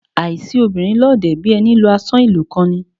Àìsi obìnrin lọ́ọ̀dẹ̀, bí ẹni lu àsán ìlú kan ni.